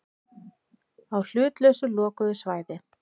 Á hlutlausu lokuðu svæði.